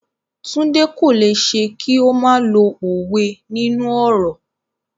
Tunde cannot do without using proverbs in conversations.